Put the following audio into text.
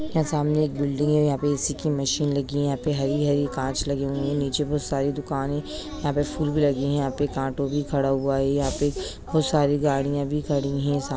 यहाँ सामने एक बिल्डिंग है यहाँ पे ए_सी की मशीन लगी है| यहाँ पर हरी-हरी काँच लगी हुई है नीचे बहुत सारी दुकाने है यहाँ पे फूल भी लगी है यहाँ एक ऑटो भी खड़ा हुआ है यहाँ पे बहुत सारी गाड़ियां भी खड़ी है। सा--